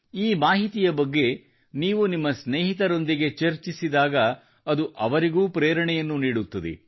ಈ ಮಾಹಿತಿಯ ಬಗ್ಗೆ ನೀವು ನಿಮ್ಮ ಸ್ನೇಹಿತರೊಂದಿಗೆ ಚರ್ಚಿಸಿದಾಗ ಅದು ಅವರಿಗೂ ಪ್ರೇರಣೆಯನ್ನು ನೀಡುತ್ತದೆ